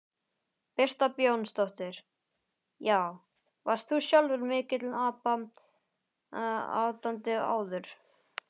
Birta Björnsdóttir: Já, varst þú sjálfur mikill Abba aðdáandi áður?